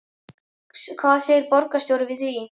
Hvað segir borgarstjóri við því?